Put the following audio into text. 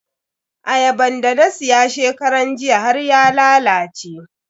Ayaban da na siya shekaran jiya har ya lalace.